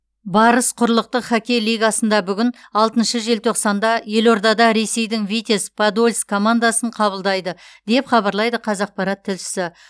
барыс құрлықтық хоккей лигасында бүгін алтыншы желтоқсанда елордада ресейдің витязь подольск командасын қабылдайды деп хабарлайды қазақпарат тілшісі